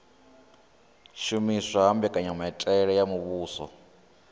shumiswa ha mbekanyamitele ya muvhuso